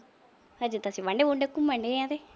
ਹਾਲੇ ਤਾਂ ਅਸੀਂ ਘੁੰਮਣ ਡਿਆਂ।